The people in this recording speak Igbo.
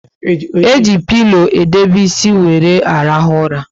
E ji pilo edobe ísì wéré arahu ura